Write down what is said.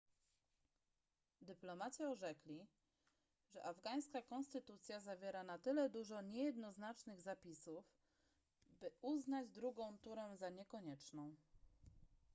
dyplomaci orzekli że afgańska konstytucja zawiera na tyle dużo niejednoznacznych zapisów by uznać drugą turę za niekonieczną